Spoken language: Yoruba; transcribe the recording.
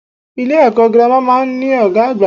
Ilé èkó girama máa n ní Ògá àgbà